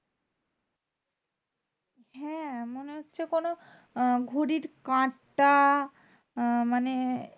হ্যাঁ মানে হচ্ছে কোনো ঘড়ির কাঁটা আহ মানে